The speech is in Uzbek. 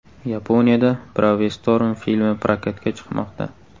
Yaponiyada Bravestorm filmi prokatga chiqmoqda.